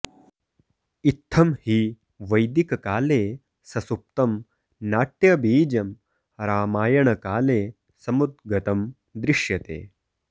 इत्थं हि वैदिककाले ससुप्तं नाट्यबीजं रामायणकाले समुद्गतं दृश्यते